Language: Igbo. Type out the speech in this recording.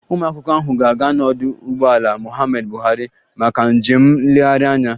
Ụmụakwụkwọ ahụ ga-aga n'ọdụ ụgbọelu Muhammadu Buhari maka njem nlegharị anya